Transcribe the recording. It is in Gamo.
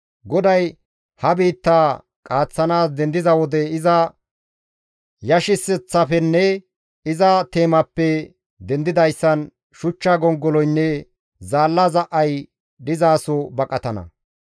GODAY ha biittaa qaaththanaas dendiza wode iza yashiseththaafenne iza teemaappe dendidayssan shuchcha gongoloynne zaalla za7ay dizaso baqatana.